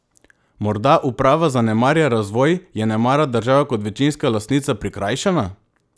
Morda uprava zanemarja razvoj, je nemara država kot večinska lastnica prikrajšana?